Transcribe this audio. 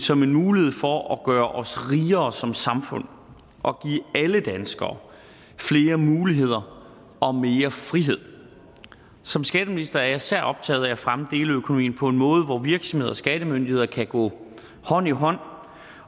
som en mulighed for at gøre os rigere som samfund og give alle danskere flere muligheder og mere frihed som skatteminister er jeg især optaget af at fremme deleøkonomien på en måde hvor virksomheder og skattemyndigheder kan gå hånd i hånd